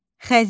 Xəzinə.